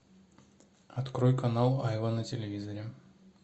открой канал айва на телевизоре